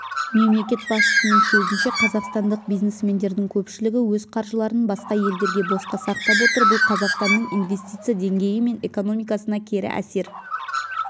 мемлекет басшысының сөзінше қазақстандық бизнесмендердің көпшілігі өз қаржыларын басқа елдерде босқа сақтап отыр бұл қазақстанның инвестиция деңгейі мен экономикасына кері әсер